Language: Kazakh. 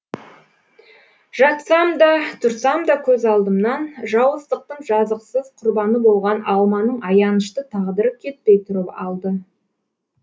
жатсам да тұрсам да көз алдымнан жауыздықтың жазықсыз құрбаны болған алманың аянышты тағдыры кетпей тұрып алды